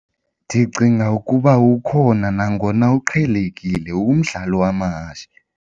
Ndicinga ukuba ukhona nangona uqhelekile umdlalo wamahashe.